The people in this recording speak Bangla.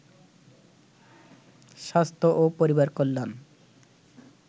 স্বাস্থ্য ও পরিবার কল্যাণ